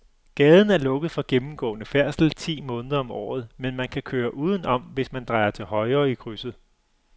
Gaden er lukket for gennemgående færdsel ti måneder om året, men man kan køre udenom, hvis man drejer til højre i krydset.